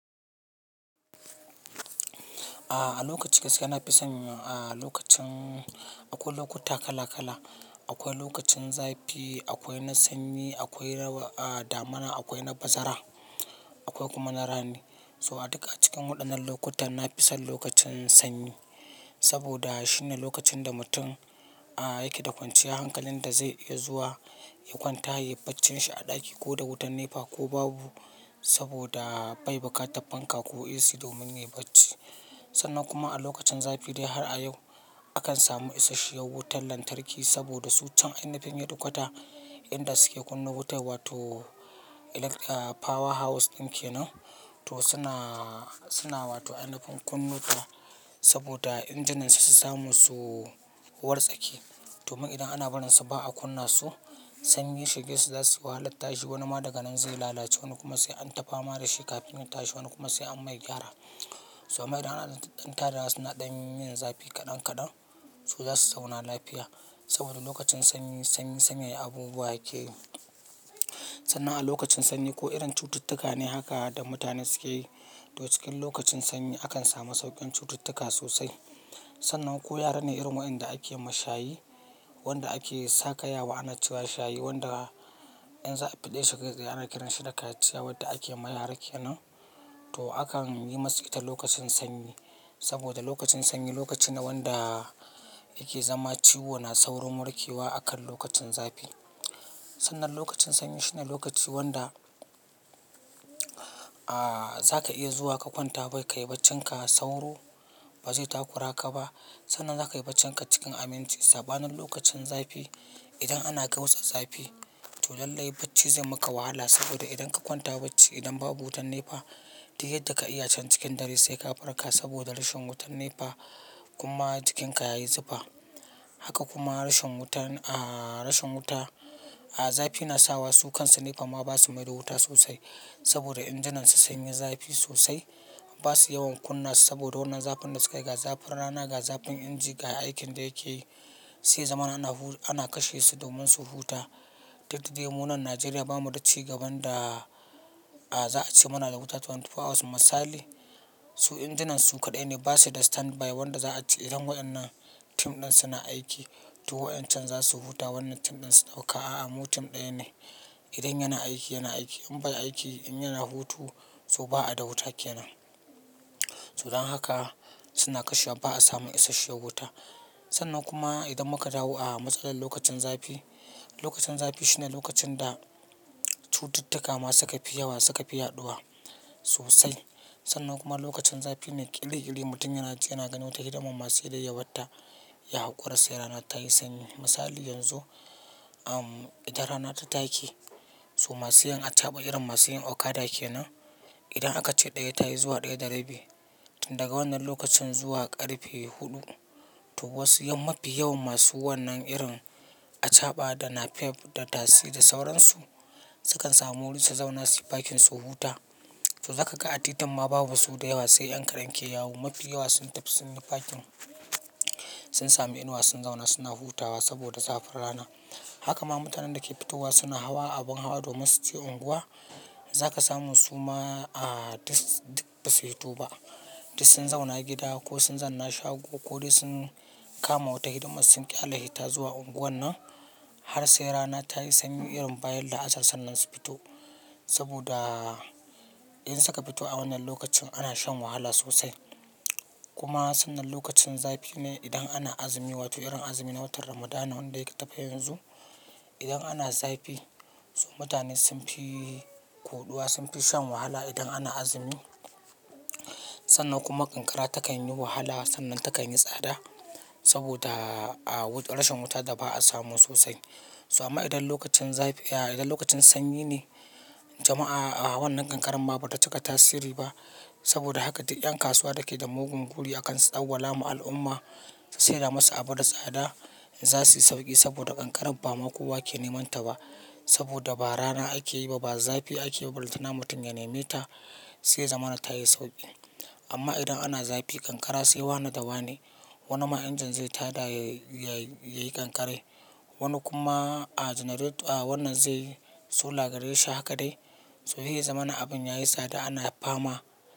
A lokaci gaskiya na fi son a lokacin akwai lokuta kala kala. Akwai lokacin zafi, akwai na sanyi, akwai damana, akwai na bazara, akwai kuma na rani. So a duka cikin waɗannan lokuta na fi son lokacin sanyi. Saboda shine lokacin da mutum yake da kwanciyar hankalin da zai iya zuwa ya kwanta, yi baccin shi a ɗaki ko da wutar nepa ko babu saboda bai buƙata fanka ko AC domin yi bacci. Sannan kuma a lokacin zafi dai har a yau akan samu isashiyar wutar lantarki saboda su can ainafin ya ɗukata inda suke kunnun wutar wato power house ɗin ke nan to suna, suna wato ainafin kunnuta saboda injinan su su samu suwar tsaki. Domin idan ana barin su ba a kunna su sanyi shige su za su yi wahalan tashi. Wani ma daga nan zai lalace, wani kuma sai an tafawa da shi kafin ya tashi, wani kuma sai an mai gyara. So ma idan an ɗan tada suna ɗan yin zafi kaɗan kaɗan su za su zauna lafiya saboda lokacin sanyi, sanyi sanye abubuwa yake yi. Sannan a lokacin sanyi ko irin cututtuka ne haka da mutane suke yi. To cikin lokacin sanyi akan samu sauƙin cututtuka sosai. Sannan ko yarane irin waɗanda ake ma shayi, wanda ake sakayawa anaciwa shayi wanda in za a fi ɗaya shekarar ana kiransa da kaciya wadda ake ma yara ke nan. To akan yi masu ita lokacin sanyi saboda lokacin sanyi lokaci ne wanda yake zama ciwo na saurin murkewa akan lokacin zafi. Sannan lokacin sanyi shine lokaci wanda a zaka iya zuwa ka kwanta bai kai bacinka sauro, ba zai takura ka ba. Sannan zaka yi bacci ka cikin aminci sabanin lokacin zafi. Idan ana kai wutsar zafi to lallai bacci zai maka wahala saboda idan ka kwanta bacci idan babu wutar nefa duk yadda ka yi achen cikin dare sai ka farka saboda rashin wutar nefa kuma jikinka ya yi zufa. Haka kuma rashin wutan a rashin wuta a zafi na sawa su kan su nefa ma ba su maido wuta sosai saboda injinan su sun yi zafi sosai. Ba su yawan kunna su saboda wannan zafin da suka yi. Ga zafin rana, ga zafin inji ga aikin da yake yi sai zaman ana ana kashe su domin su huta. Duk da demo na Najeriya bamu da cigaban da a za a ce muna da wuta 24 hours misali. So injinan su kaɗai ne ba su da standby wanda za a ci idan waɗannan tim ɗin suna aiki. To waɗannan za su huta wannan tim ɗin su ɗauka. A'a mu tim ɗaya ne. Idan yana aiki yana aiki in bai aiki in yana hutu so ba a da wuta ke nan. So don haka suna kashewa ba a samu isashiyar wuta. Sannan kuma idan muka dawu a matsalar lokacin zafi, lokacin zafi shine lokacin da cututtuka ma suka fi yawa, suka fi yaɗuwa sosai. Sannan kuma lokacin zafi ne ƙili ƙili mutum yana ci yana ganin wata hidimar masu dai yawatta ya haƙura sai rana ta yi sanyi. Misali yanzu idan rana ta take so masu yin achaɓa irin masu yin okada ke nan idan aka ce ɗaya ta yi zuwa ɗaya da rabi tun daga wannan lokacin zuwa ƙarfe huɗu to wasu mafi yawan masu wannan irin achaɓa da napep da tasi da sauran su sukan samu wurin su zauna su yi fakin su huta. To zaka ga a titin ma babu su da yawa sai yankadan ke yawo. Mafi yawa sun tafi sun yi fakin, sun sami inuwa sun zauna suna hutawa saboda zafin rana. Haka ma mutanen da ke fitowa suna hawa abun hawa domin su je unguwa. Zaka samu su ma a duk ba su fito ba. Duk sun zauna gida ko sun zanna shago ko dai sun kama wata hidimar sun ƙi Allahita zuwa unguwar nan har sai rana ta yi sanyi irin bayan la'asar sannan su fito. Saboda in saka fito a wannan lokacin ana shan wahala sosai. Kuma sannan lokacin zafi ne idan ana azumi wato irin azumi na watan Ramadana wanda yake tapiya yanzu. Idan ana zafi so mutane sun fi koɗuwa, sun fi shan wahala idan ana azumi. Sannan kuma ƙanƙara takan yi wahala sannan takan yi tsada saboda a wutar rashin wuta da ba a samu sosai. Ba amma idan lokacin zafi a idan lokacin sanyi ne jama'a a wannan ƙanƙaran ba bata cika tasiri ba saboda haka duk ƴan kasuwa da ke da mugun guri akan tsawwala ma al'umma su sayarwa masu abun da tsada in za su yi sauƙi saboda ƙanƙaran ba ma kowa ke neman ta ba. Saboda ba rana ake yi ba, ba zafi ake yi ba. Lallai tana mutum ya nemi ta sai zaman ta yi sauƙi. Amma idan ana zafi ƙanƙara sai wane da wane. Wani ma injin zai taɗa yayi ƙanƙarai. Wani kuma a janaret a wannan zai so lagade shi haka dai. So shi ya zama na abun yayi tsada ana fama.